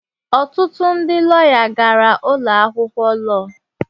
Ọtụtụ ndị lọya gara ụlọ akwụkwọ lọọ.